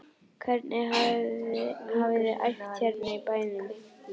Hvernig hafiði æft hérna í bænum?